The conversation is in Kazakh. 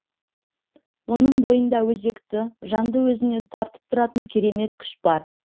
оның бойында өзекті жанды өзіне тартып тұратын керемет күш бар